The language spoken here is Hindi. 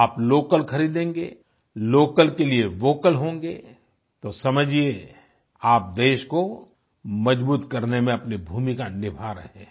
आप लोकल खरीदेंगे लोकल के लिए वोकल होंगे तो समझिए आप देश को मजबूत करने में अपनी भूमिका निभा रहे हैं